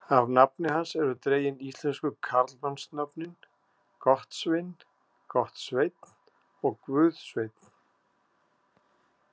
Af nafni hans eru dregin íslensku karlmannsnöfnin Gottsvin, Gottsveinn og Guðsveinn.